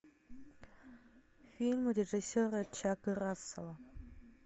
фильмы режиссера чака рассела